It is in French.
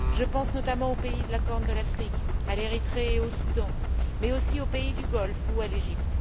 Je pense, notamment, aux pays de la Corne de l'Afrique, à l'Érythrée et au Soudan, mais aussi aux pays du Golfe ou à l'Égypte.